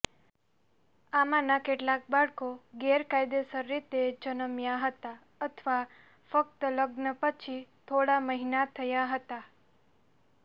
આમાંના કેટલાક બાળકો ગેરકાયદેસર રીતે જન્મ્યા હતા અથવા ફક્ત લગ્ન પછી થોડા મહિના થયા હતા